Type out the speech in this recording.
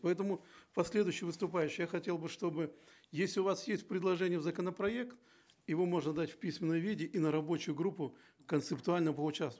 поэтому последующий выступающий я хотел бы чтобы если у вас есть предложение в законопроект его можно дать в письменном виде и на рабочую группу концептуально поучаствовать